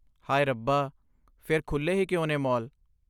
ਹਾਏ ਰੱਬਾ! ਫ਼ਿਰ ਖੁੱਲੇ ਹੀ ਕਿਉਂ ਨੇ ਮਾਲ?